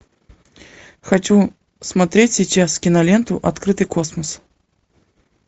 хочу смотреть сейчас киноленту открытый космос